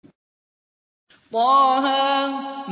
طه